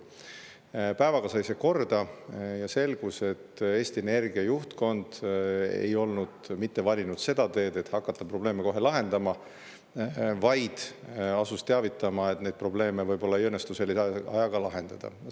Päevaga sai see korda ja selgus, et Eesti Energia juhtkond ei olnud valinud seda teed, et hakata probleeme kohe lahendama, vaid teavitas, et neid probleeme võib-olla ei õnnestu lahendada.